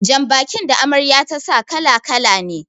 Jan bakin da Amarya ta sa kala- kala ne